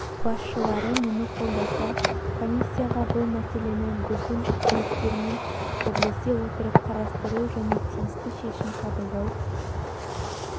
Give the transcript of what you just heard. басшылары мұны қолдаса комиссияға бұл мәселені біздің үкіметтермен бірлесе отырып қарастыру және тиісті шешім қабылдау